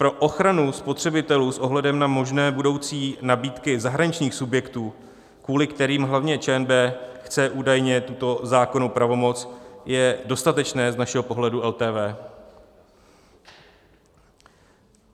Pro ochranu spotřebitelů s ohledem na možné budoucí nabídky zahraničních subjektů, kvůli kterým hlavně ČNB chce údajně tuto zákonnou pravomoc, je dostatečné z našeho pohledu LTV.